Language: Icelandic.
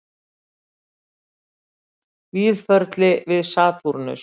Víðförli við Satúrnus